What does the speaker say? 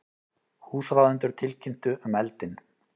Húsráðendur tilkynntu um eldinn